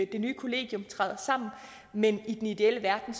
det nye kollegium træder sammen men i den ideelle verden